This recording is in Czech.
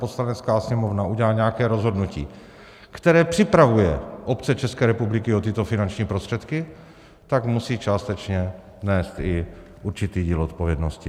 Poslanecká sněmovna udělají nějaké rozhodnutí, které připravuje obce České republiky o tyto finanční prostředky, tak musí částečně nést i určitý díl odpovědnosti.